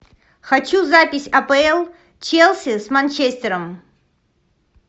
хочу запись апл челси с манчестером